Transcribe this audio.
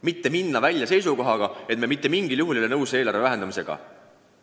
Meie aga läheme välja seisukohaga, et me mitte mingil juhul ei ole nõus eelarve vähendamisega.